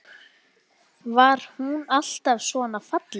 Var hún alltaf svona falleg?